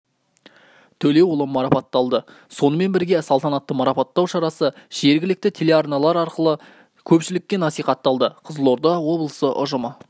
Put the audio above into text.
төлеуұлы марапатталды сонымен бірге салтанатты марапаттау шарасы жергілікті телеарналар арқылы көпшілікке насихатталды қызылорда облысы ұжымы